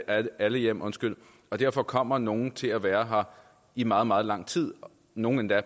alle alle hjem og og derfor kommer nogle til at være her i meget meget lang tid nogle endda